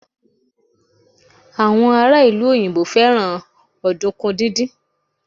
àwọn ará ìlú òyìnbó fẹràn ọdunkun didin